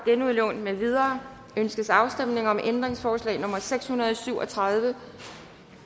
genudlån med videre ønskes afstemning om ændringsforslag nummer seks hundrede og syv og tredive